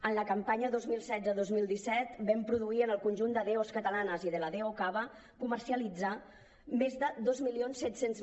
en la campanya dos mil setze dos mil disset vam produir en el conjunt de dos catalanes i de la do cava comercialitzar més de dos mil set cents